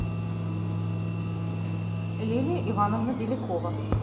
лилия ивановна белякова